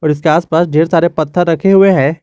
उसके आसपास ढेर सारे पत्थर रखे हुए हैं।